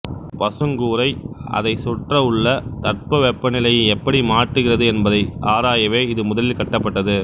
ஒரு பசுங்கூரை அதை சுற்றயுள்ள தட்பவெப்பநிலையை எப்படி மாற்றுகிறது என்பதை ஆராயவே இது முதலில் கட்டப்பட்டது